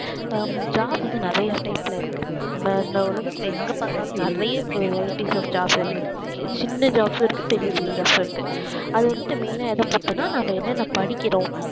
ஹம் job வந்து நிறைய type ல இருக்கு நம்ம இந்த உலகத்துல எங்க பாத்தாலும் நிறைய varieties of job இருக்கு சின்ன jobs உம் இருக்கு பெரிய பெரிய jobs உம் இருக்கு அது வந்து main ஆ எதை பொறுத்துன்னா நாம என்ன என்ன படிக்கிறோம்